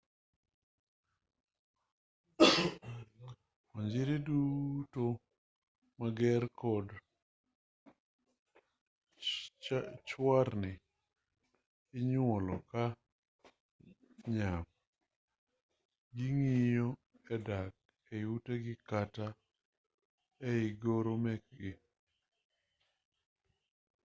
onjiri duto mager kod chwarni inyuolo ka nyap ging'iyo gi dak ei utegi kata ei goro mekgi